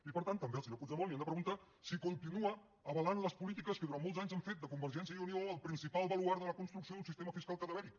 i per tant també al senyor puigdemont li hem de preguntar si continua avalant les polítiques que durant molts anys han fet de convergència i unió el principal baluard de la construcció d’un sistema fiscal cadavèric